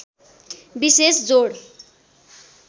विशेष जोड